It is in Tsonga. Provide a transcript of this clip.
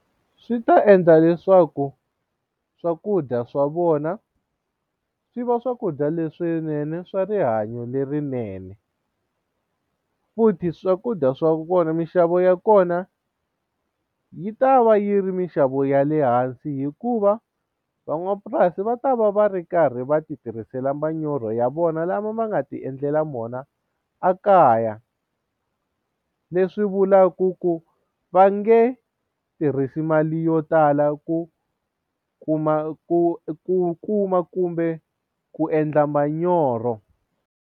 Swi ta endla leswaku swakudya swa vona swi va swakudya leswinene swa rihanyo lerinene futhi swakudya swa kona minxavo ya kona yi ta va yi ri minxavo ya le hansi hikuva van'wamapurasi va ta va va ri karhi va ti tirhisela manyoro ya vona lama va nga ti endlela vona a kaya leswi vulaku ku va nge tirhisi mali yo tala ku kuma ku ku kuma kumbe ku endla manyoro.